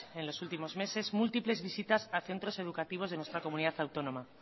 en los últimos meses múltiples visitas a centros educativos de nuestra comunidad autónoma